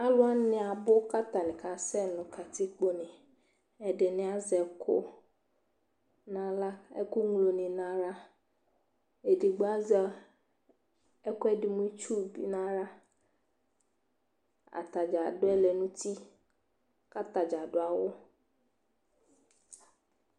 Alʋ wanɩ abʋ kʋ atanɩ kʋ atanɩ kasɛ nʋ katikpone Ɛdɩnɩ azɛ ɛkʋ aɣla Ɛkʋŋlonɩ nʋ aɣla Edigbo azɛ ɛkʋɛdɩ mʋ itsu bɩ nʋ aɣla Ata dza adʋ ɛlɛ nʋ uti kʋ ata dza adʋ awʋ